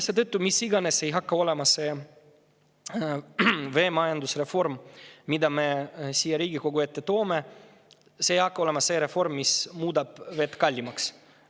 Seetõttu, milline tahes tuleb see veemajandusreform, mida me siia Riigikogu ette toome, see ei saa olla selline reform, mis muudab vee kallimaks.